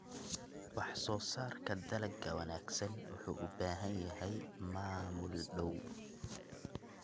Wax soo saarka dalagga wanaagsan wuxuu u baahan yahay maamul dhow.